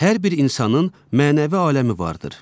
Hər bir insanın mənəvi aləmi vardır.